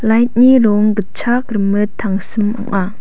light-ni rong gitchak rimit tangsim ong·a.